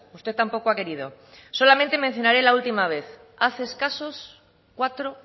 usted tampoco ha querido solamente mencionaré la última vez hace escasos cuatro